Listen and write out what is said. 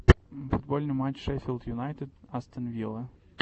футбольный матч шеффилд юнайтед астон вилла